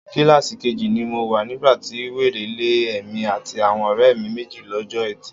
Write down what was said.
Kíláàsì keji ni mo wà nígbà ti wèrè lé èmi àti àwọn ọ̀rẹ́ mi méjì lọ́jọ́ Ẹtì.